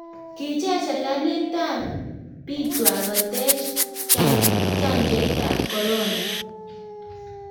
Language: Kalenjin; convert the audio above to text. kicher serikalit biikwach kotach chanjoitab korona